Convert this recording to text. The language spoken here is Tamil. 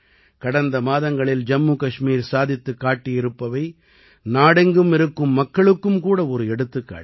கடந்த மாதங்களில் ஜம்மு கஷ்மீர் சாதித்துக் காட்டியிருப்பவை நாடெங்கும் இருக்கும் மக்களுக்கும் கூட ஒரு எடுத்துக்காட்டு